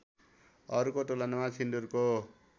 अरूको तुलनामा सिन्दुरको